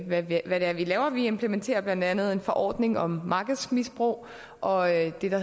hvad det er vi laver vi implementerer blandt andet en forordning om markedsmisbrug og det der